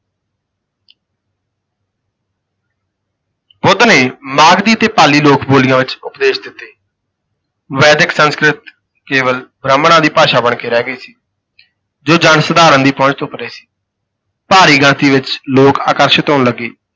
ਬੁੱਧ ਨੇ ਮਾਗਧੀ ਅਤੇ ਪਾਲੀ ਲੋਕ ਬੋਲੀਆਂ ਵਿਚ ਉਪਦੇਸ਼ ਦਿੱਤੇ ਵੈਦਿਕ ਸੰਸਕ੍ਰਿਤ ਕੇਵਲ ਬ੍ਰਾਹਮਣਾਂ ਦੀ ਭਾਸ਼ਾ ਬਣ ਕੇ ਰਹਿ ਗਈ ਸੀ। ਜੋ ਜਨ ਸਾਧਾਰਣ ਦੀ ਪਹੁੰਚ ਤੋਂ ਪਰੇ ਸੀ ਭਾਰੀ ਗਿਣਤੀ ਵਿਚ ਲੋਕ ਆਕਰਸ਼ਿਤ ਹੋਣ ਲੱਗੇ।